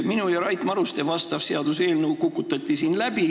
Minu ja Rait Maruste vastav seaduseelnõu kukutati siin läbi.